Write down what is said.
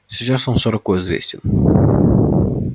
сейчас он широко известен